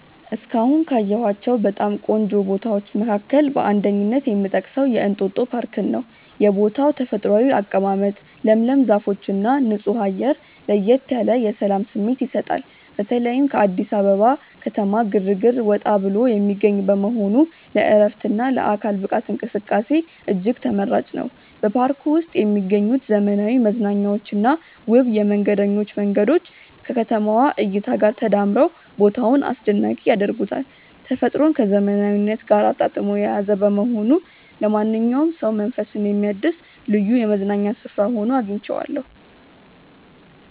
እስካሁን ካየኋቸው በጣም ቆንጆ ቦታዎች መካከል በአንደኝነት የምጠቀሰው የእንጦጦ ፓርክን ነው። የቦታው ተፈጥሯዊ አቀማመጥ፣ ለምለም ዛፎችና ንጹህ አየር ለየት ያለ የሰላም ስሜት ይሰጣል። በተለይም ከአዲስ አበባ ከተማ ግርግር ወጣ ብሎ የሚገኝ በመሆኑ ለዕረፍትና ለአካል ብቃት እንቅስቃሴ እጅግ ተመራጭ ነው። በፓርኩ ውስጥ የሚገኙት ዘመናዊ መዝናኛዎችና ውብ የመንገደኞች መንገዶች ከከተማዋ እይታ ጋር ተዳምረው ቦታውን አስደናቂ ያደርጉታል። ተፈጥሮን ከዘመናዊነት ጋር አጣጥሞ የያዘ በመሆኑ ለማንኛውም ሰው መንፈስን የሚያድስ ልዩ የመዝናኛ ስፍራ ሆኖ አግኝቼዋለሁ።